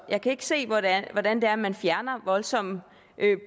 jeg kan ikke se hvordan hvordan det er at man fjerner voldsomme